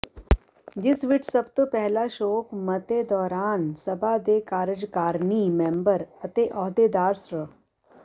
ਜਿਸ ਵਿੱਚ ਸਭ ਤੋਂ ਪਹਿਲਾਂ ਸ਼ੋਕ ਮਤੇ ਦੌਰਾਨ ਸਭਾ ਦੇ ਕਾਰਜਕਾਰਨੀ ਮੈਂਬਰ ਅਤੇ ਅਹੁਦੇਦਾਰ ਸ੍ਰ